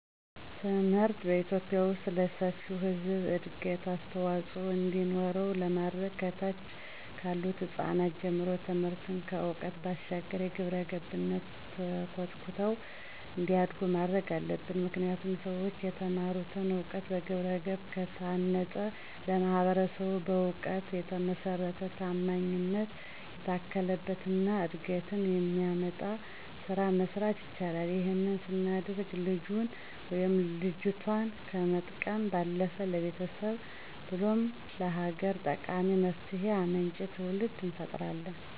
ትምህርትን በኢትዮጲያ ዉስጥ ለሰፊው ህብረተሰብ እድገት አስተዋፅዖ እንዲኖረው ለማድረግ ከታች ካሉት ህጻናት ጀምሮ ትምህርትን ከዕውቀት ባሻገር በግብረገብነት ተኮትኩተው እንዲያድጉ ማድረግ አለብን። ምክንያቱም ሠዎች የተማሩትን እውቀት በግብረገብ ከታነፀ ለማህበረሰቡ በእውቀት የተመሰረተ፣ ታማኝነት የታከለበት እና እድገትን የሚያመጣ ስራ መስራት ይችላል። ይህንን ስናደርግም ልጁን ወይም ልጆቷን ከመጥቀም ባለፈ ለቤተሰብ ብሎም ለሀገር ጠቃሚና መፍትሄ አምጪ ትውልድ እንፈጥራለን።